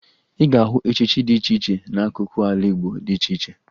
Ị ga-ahụ echichi dị iche iche n'akụkụ ala Igbo dị iche iche